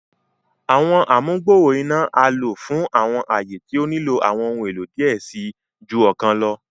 Àwọn amugbooro iná a lo fún awọn aaye tí o nilo awọn ohùn èlò diẹ ẹ sii ju ọkàn lọ